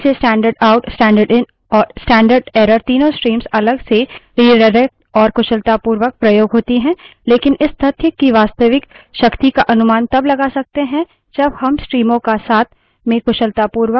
हमने देखा कि कैसे standard out standard in standard error तीनों streams अलग से रिडाइरेक्ट और कुशलतापूर्वक प्रयोग होती हैं लेकिन इस तथ्य की वास्तविक शक्ति का अनुमान तब लगा सकते हैं जब हम streams का साथ में कुशलतापूर्वक उपयोग करें we है भिन्न streams को जोड़ना